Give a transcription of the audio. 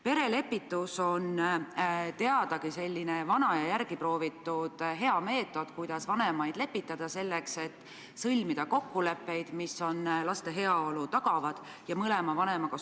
Perelepitus on teadagi selline vana ja hea järeleproovitud meetod, kuidas vanemaid lepitada, selleks et sõlmida kokkuleppeid, mis tagavad laste heaolu ja säilitavad suhted mõlema vanemaga.